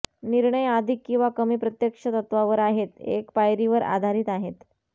निर्णय अधिक किंवा कमी प्रत्यक्ष तत्वावर आहेत एक पायरी वर आधारित आहेत